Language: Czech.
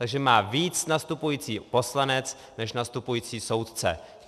Takže má víc nastupující poslanec než nastupující soudce.